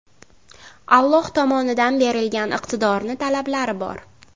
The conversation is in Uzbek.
Alloh tomonidan berilgan iqtidorni talablari bor.